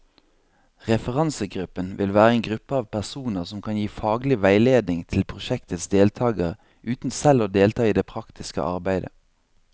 Referansegruppen vil være en gruppe av personer som kan gi faglig veiledning til prosjektets deltagere, uten selv å delta i det praktiske arbeidet.